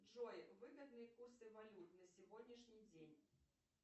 джой выгодные курсы валют на сегодняшний день